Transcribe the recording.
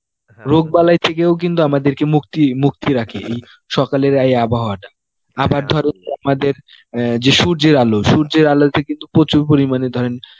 রোগ বালাই থেকেও কিন্তু আমাদেরকে মুক্তি মুক্ত রাখে এই সকালের এই আবহাওয়াটা আবার ধরেন আমাদের অ্যাঁ যে সূর্যের আলো, সূর্যের আলোতে কিন্তু প্রচুর পরিমানে ধরেন